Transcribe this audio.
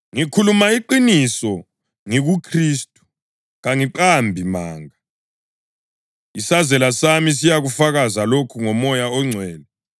Ngikhuluma iqiniso ngikuKhristu, kangiqambi manga, isazela sami siyakufakaza lokhu ngoMoya oNgcwele,